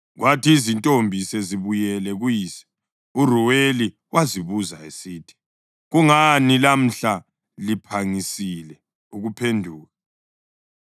Kwathi izintombi sezibuyele kuyise eRuweli wazibuza esithi, “Kungani lamhla liphangisile ukuphenduka?”